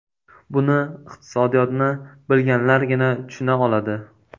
Buni iqtisodiyotni bilganlargina tushuna oladi.